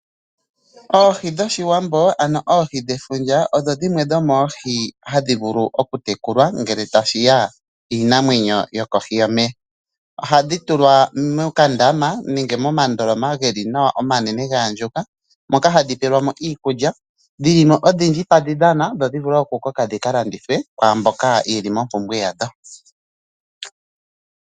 Oohi dhoshiwambo ano oohi dhefundja, odho dhimwe dho moohi hadhi vulu oku tekulwa, ngele ta shiya kiinamwenyo yo kohi yomeya, ohadhi tulwa mokandama nenge momandoloma geli nawa omanene gaandjuka, moka hadhi peelwamo iikulya, dhilimo odhindji tadhi dhana, dho dhi vule oku koka dhika landithwe kwaamboka yeli mompumbwe yadho.